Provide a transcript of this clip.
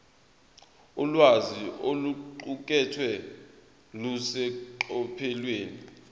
ulwazi oluqukethwe luseqophelweni